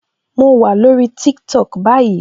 Mo wà lórí TikTok báyìí